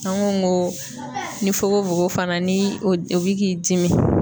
An ko ko ni fokofoko fana ni o bi k'i dimi